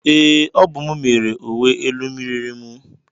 Ee, ọ bụ m mere uwe elu miriri mu.